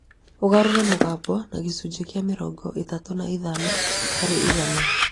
ũgarũre mũgambo na gĩcunjĩ kĩa mĩrongo ĩtatũ na ithano harĩ igana